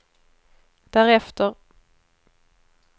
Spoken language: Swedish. därefter